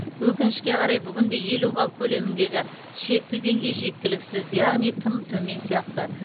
өкінішке қарай бүгінде елу балл көлеміндегі шекті деңгей жеткіліксіз яғни тым төмен сияқты